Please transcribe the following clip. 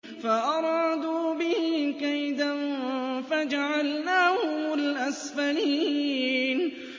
فَأَرَادُوا بِهِ كَيْدًا فَجَعَلْنَاهُمُ الْأَسْفَلِينَ